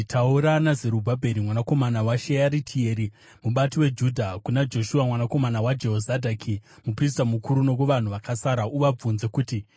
“Taura naZerubhabheri mwanakomana waShearitieri, mubati weJudha, kuna Joshua mwanakomana waJehozadhaki muprista mukuru, nokuvanhu vakasara. Uvabvunze kuti,